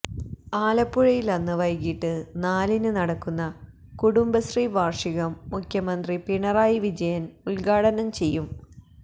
ആലപ്പുഴയിൽ അന്ന് വൈകിട്ട് നാലിന് നടക്കുന്ന കുടുംബശ്രീ വാർഷികം മുഖ്യമന്ത്രി പിണറായി വിജയൻ ഉദ്ഘാടനം ചെയ്യും